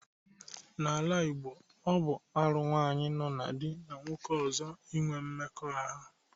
N'ala Igbo, ọ bụ arụ nwaanyị nọọ na di na nwoke ọzọ inwe mmekọahụ.